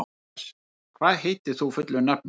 Mías, hvað heitir þú fullu nafni?